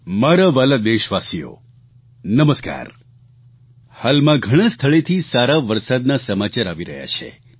મારા વ્હાલા દેશવાસીઓ નમસ્કાર હાલમાં ઘણા સ્થળેથી સારા વરસાદના સામાચાર આવી રહ્યા છે